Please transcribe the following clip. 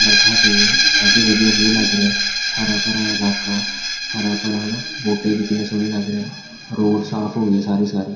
ਬਰਖਾਹ ਪਈ ਆ ਕਾਫੀ ਵਧੀਆ ਵਿਊ ਲੱਗ ਰਿਹਾ ਹਰਾ ਭਰਾ ਇਲਾਕਾ ਹਰਾ ਭਰਾ ਹਨਾ ਬੂਟੇ ਵੀ ਕਿੰਨੇ ਸੋਹਣੇ ਲੱਗ ਰਹੇ ਆ ਰੋਡ ਸਾਫ ਹੋ ਗਏ ਸਾਰੇ ਸਾਰੇ --